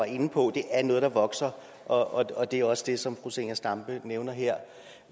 inde på at det er noget der vokser og og det er også det som fru zenia stampe nævner her